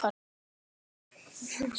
Og nú vill hann semja!